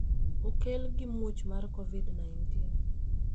okel gi muoch mar COVID-19